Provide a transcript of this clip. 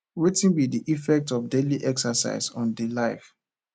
wetin be di effect of daily exercise on di life